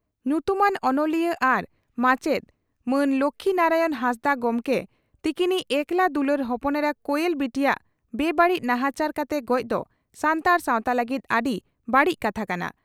ᱧᱩᱛᱩᱢᱟᱱ ᱚᱱᱚᱞᱤᱭᱟᱹ ᱟᱨ ᱢᱟᱪᱮᱛ ᱢᱟᱱ ᱞᱚᱠᱷᱤ ᱱᱟᱨᱟᱭᱚᱱ ᱦᱟᱸᱥᱫᱟᱜ ᱜᱚᱢᱠᱮ ᱛᱤᱠᱤᱱᱤᱡ ᱮᱠᱞᱟ ᱫᱩᱞᱟᱹᱲ ᱦᱚᱯᱚᱱ ᱮᱨᱟ ᱠᱚᱭᱮᱞ ᱵᱤᱴᱤᱭᱟᱜ ᱵᱮᱼᱵᱟᱹᱲᱤᱡ ᱱᱟᱦᱟᱪᱟᱨ ᱠᱟᱛᱮ ᱜᱚᱡᱽ ᱫᱚ ᱥᱟᱱᱛᱟᱲ ᱥᱟᱣᱛᱟ ᱞᱟᱹᱜᱤᱫ ᱟᱹᱰᱤ ᱵᱟᱹᱲᱤᱡ ᱠᱟᱛᱷᱟ ᱠᱟᱱᱟ ᱾